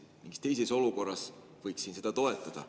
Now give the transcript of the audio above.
Mingis teises olukorras võiksin seda toetada.